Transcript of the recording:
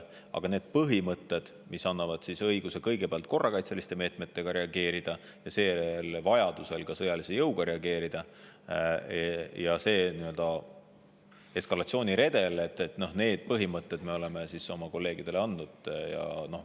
Aga need põhimõtted, mis annavad õiguse kõigepealt korrakaitseliste meetmetega reageerida ja seejärel vajaduse korral ka sõjalise jõuga reageerida, ja nii-öelda eskalatsiooniredeli me oleme oma kolleegidele teada andnud.